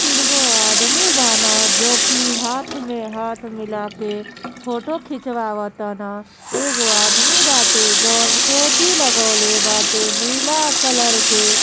तीन को आदमी बाना जोकि हाथ में हाथ मिला के फोटो खिचवावताना अ एगो आदमी बाते जौ टोपी लगाउले बाटे नीला कलर के।